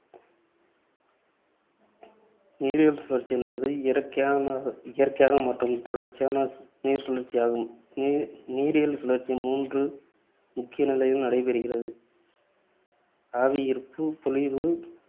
நீரியல் சுழற்சி என்பது இயற்கையாகன இயற்கையாக மற்றும் தொடர்ச்சியான நீர்ச்சுழற்சியாகும். நீ~ நீரியல் சுழற்சி மூன்று முக்கிய நிலையில் நடைபெறுகிறது. அவை ஆவியீர்ப்பு, பொழிவு